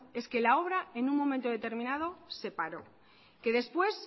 es que la obra en un momento determinado se paró que después